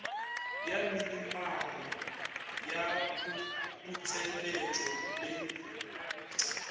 ya minimamo ya putseletšo le